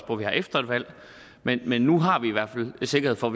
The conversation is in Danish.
på vi har efter et valg men men nu har vi i hvert fald sikkerhed for